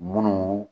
Munnu